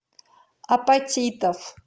апатитов